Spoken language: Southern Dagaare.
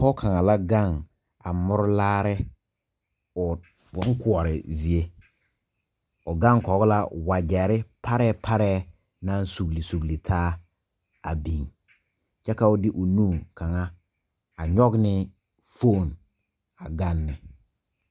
Poɔ kang la gang a muri laare ɔ bun koɔri zeɛ ɔ gang koo la wajeri paree paree nang sugli sugli taa a bing kye ka ɔ de ɔ nu kanga a nyuge ne fooni a ganne.